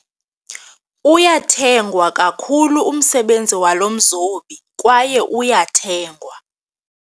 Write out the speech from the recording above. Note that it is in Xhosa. Uyathengwa kakhulu umsebenzi walo mzobi kwaye uyathengwa.